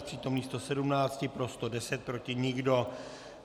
Z přítomných 117 pro 110, proti nikdo.